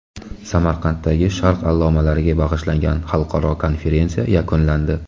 Samarqanddagi Sharq allomalariga bag‘ishlangan xalqaro konferensiya yakunlandi.